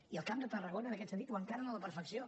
i el camp de tarragona en aquest sentit ho encarna a la perfecció